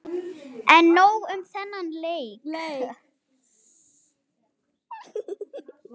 En nóg um þennan leik.